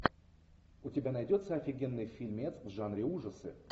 у тебя найдется офигенный фильмец в жанре ужасы